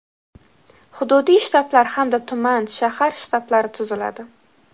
hududiy shtablar hamda tuman (shahar) shtablari tuziladi.